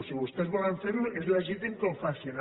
si vostès volen fer ho és legítim que ho facin